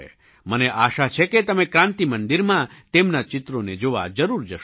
મને આશા છે કે તમે ક્રાન્તિ મંદિરમાં તેમનાં ચિત્રોને જોવા જરૂર જશો